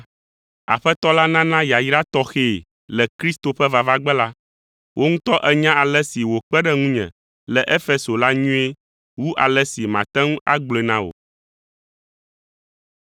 Aƒetɔ la nana yayra tɔxɛ le Kristo ƒe vavagbe la. Wò ŋutɔ ènya ale si wòkpe ɖe ŋunye le Efeso la nyuie wu ale si mate ŋu agblɔe na wò.